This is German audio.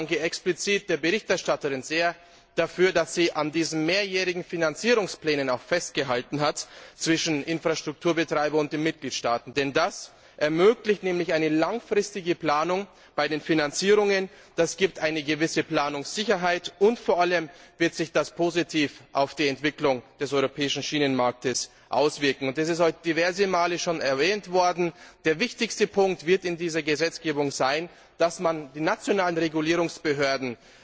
Und ich danke explizit der Berichterstatterin sehr dafür, dass sie an diesen mehrjährigen Finanzierungsplänen zwischen Infrastrukturbetreibern und den Mitgliedstaaten auch festgehalten hat. Denn das ermöglicht eine langfristige Planung bei den Finanzierungen, das gibt eine gewisse Planungssicherheit und vor allem wird sich das positiv auf die Entwicklung des europäischen Schienenmarkts auswirken. Es ist heute schon diverse Male erwähnt worden Der wichtigste Punkt in dieser Gesetzgebung wird sein, dass man die nationalen Regulierungsbehörden